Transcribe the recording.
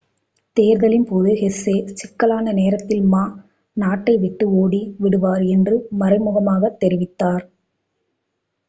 தேர்தலின் போது ஹெசே சிக்கலான நேரத்தில் மா நாட்டை விட்டு ஓடி விடுவார் என்று மறைமுகமாகத் தெரிவித்தார்